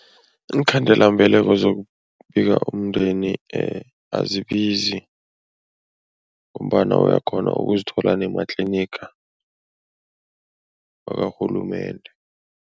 Iinkhandelambeleko zokubika umndeni azibizi ngombana uyakghona ukuzithola nematliniga wakarhulumende.